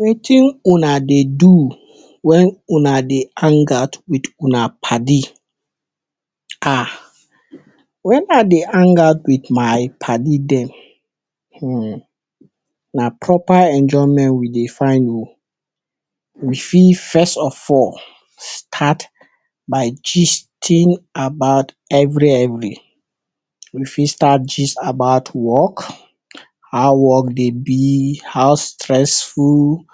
Wetin una dey do when una dey hang out with una paddy? um when I dey hang out with my paddy dem um na proper enjoyment we dey find um we fit first of all, start by gisting about every every. We fi start gist about work. How work dey be how stressful.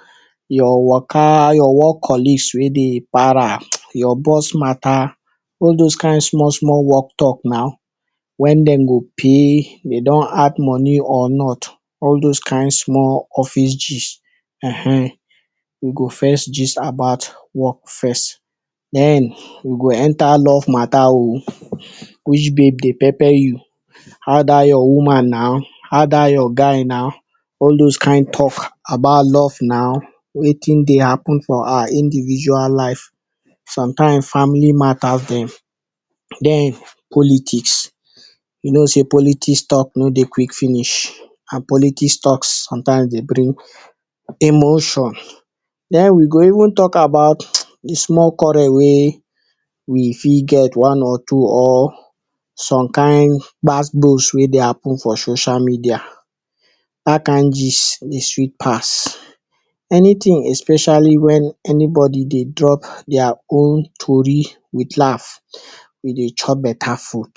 Your waka your work colleagues wey dey para, your boss matter all those kind small small work talk na when dem go pay, dem don add money or not all those kind small office gist. um we go first gist about work first den we go enter love matter um which babe dey pepper you, how dat your woman na how dat your guy na all those kind talks about love na, wetin dey happen for our individual life, sometimes family matter dem. Den politics, you know sey politics talk no dey quick finish and politics talk sometimes dey bring emotions, den we go even talk about de small quarrel wey we fit get one or two or some kind gbas gbos wey dey happen for social media dat kind gist dey sweet pass. Anything especially anybody dey drop their own tori with laugh, we dey chop better food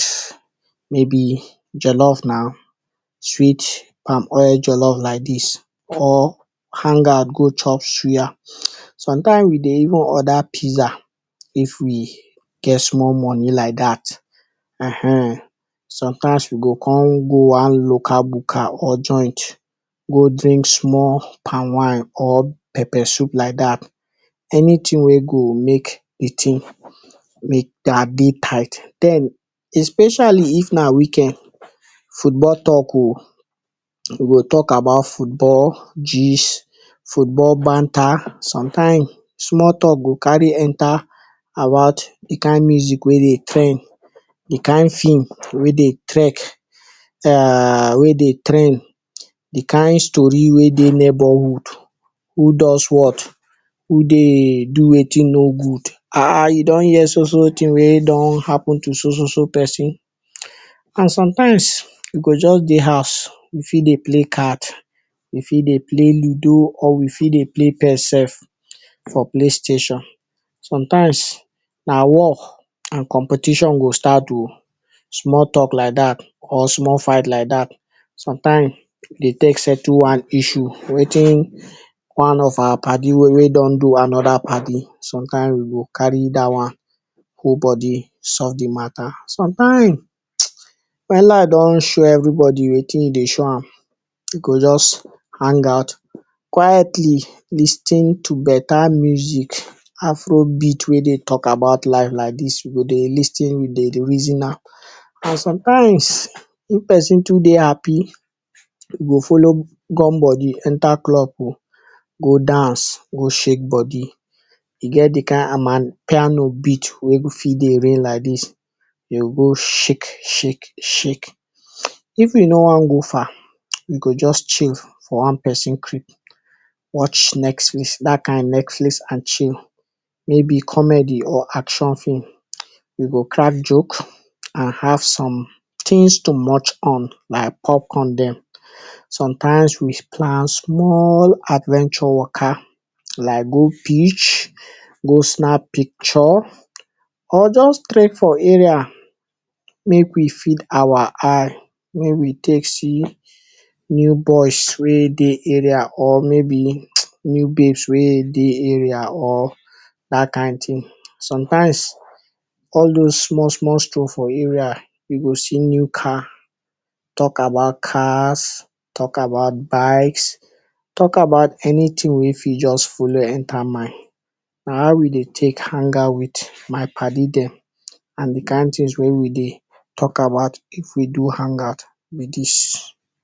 maybe jollof na, sweet palm oil jollof like dis or hang out go chop suya sometimes we dey even order pizza. If we get small money like dat.[um] sometimes we go come go on local buka or joint go drink small palm winw or pepper soup like dat, anything wey go make de thing make am dey tight. Den, especially if na weekend, football talk um we go talk about football gist, football banter sometimes small talk go cary enter about de kind music wey dey trend, de kind film wey dey trek um wey dey trend. De kind story wey dey neighbourhood, who does what, who dey do wetin nor good um you don hear so so thing wey happen to so so person and sometimes you go just dey house, we fit dey play card, we fit dey play ludo or we fit dey play ps sef for play station, sometimes na war and competition go start um, small talk like dat or small fight like dat sometimes dey take settle one issue wetin one of our paddy don do another paddy sometimes we go carry dat one hold body solve de matter some times well life don show everybody wetin e dey show am. We go just hang out quietly lis ten to better music. Afro beat wey dey talk about life like dis we dey lis ten we dey reason am and sometimes when person too dey happy, we go follow gum body enter club um go dance go shake body, e get de kind amapiano beat wey dey reign like dis you go go shake shake shake, if we no wan go far, we go just chill for one person creep watch Netflix, dat kind Netflix and chill, maybe comedy or action film, we go crack joke and have some things to munch on like pop corn dem, sometimes we plan small adventure waka like go beach go snap picture or just trek for area, make we feed our eye make we take see, new boys wey dey area or maybe new babes wey dey area or dat kind thing sometimes all those small small stroll for area we go see new car talk about cars, talk about bikes talk about anything wey fit just follow enter mind. Na how we dey take hang out with my paddy dem and de kind things wey we dey talk about if we do hang out be dis.